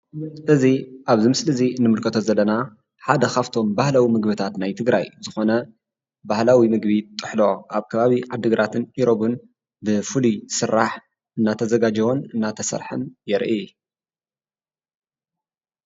እዚ ምሰሊ ኣብዚ እዚ እንምልከቶ ዘለና ሓደ ካብቶም ባህልታት ናይ ትግራይ ዝኮነ ባህላዊ ምግቢ ጥሕሎ ኣብ ከባቢ ዓዲግራትን ኢሮፕን ብፉሉይ ዝሰራሕ እናተዛጋጀወን እናተሰረሐን የርኢ፡፡